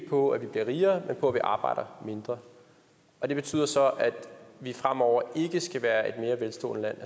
på at vi bliver rigere men på at vi arbejder mindre og det betyder så at vi fremover ikke skal være et mere velstående land